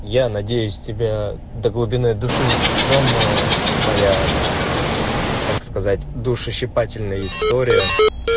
я надеюсь тебя до глубины души тронула моя так сказать душещипательная история